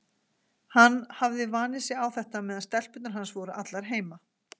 Hann hafði vanið sig á þetta meðan stelpurnar hans voru allar heima.